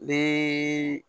Ni